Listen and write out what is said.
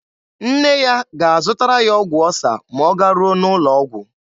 Nne ya ga-azụtara ya ọgwụ ọsa ma ọ garuo n'ụlọ ọgwụ.